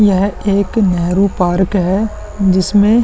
यह एक नेहरू पार्क है जिसमे --